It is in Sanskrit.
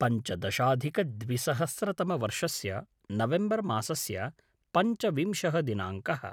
पञ्चदशाधिकद्विसहस्रतमवर्षस्य नवेम्बर् मासस्य पञ्चविंशः दिनाङ्कः